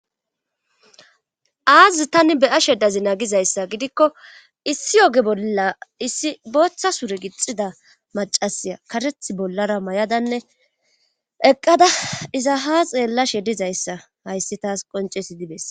Aazi tani be'ashe dazi nagizayssa gidikko issi oge bolla issi booththa sure gixida macasiya kareth bollara may'adanne eqqada iza ha xeella she dizayssa hayssi taas qoncesi dibes